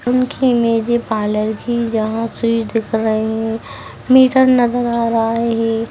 उनकी इमेज है पार्लर की जहाँ से दिख रही है मीटर नज़र आ रहा है।